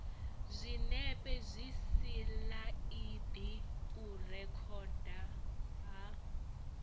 zwinepe zwisilaidi u rekhodwa ha